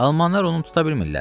Almanlar onu tuta bilmirlər.